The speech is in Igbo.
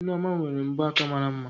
Nneoma nwere mbọ aka mara mma